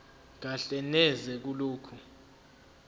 kahle neze kulokho